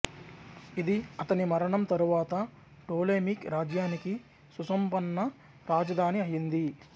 ఇది అతని మరణం తరువాత టోలెమిక్ రాజ్యానికి సుసంపన్న రాజధాని అయింది